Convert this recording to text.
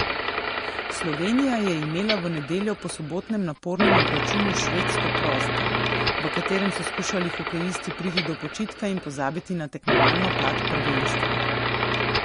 Slovenija je imela v nedeljo po sobotnem napornem obračunu s Švedsko prost dan, v katerem so skušali hokejisti priti do počitka in pozabiti na tekmovalno plat prvenstva.